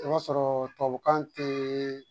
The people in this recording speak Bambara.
I b'a sɔrɔ tubabukan tɛ